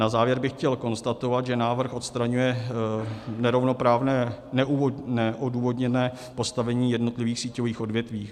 Na závěr bych chtěl konstatovat, že návrh odstraňuje nerovnoprávné neodůvodněné postavení jednotlivých síťových odvětví.